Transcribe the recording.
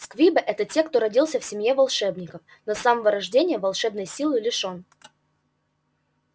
сквибы это те кто родился в семье волшебников но с самого рождения волшебной силы лишён